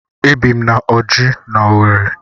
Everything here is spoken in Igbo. Ebi m na Ọjị́ n'Owerri.